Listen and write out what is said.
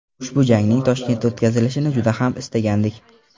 Ushbu jangning Toshkentda o‘tkazilishini juda ham istagandik.